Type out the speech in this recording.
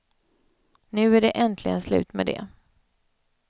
Nu är det äntligen slut med det.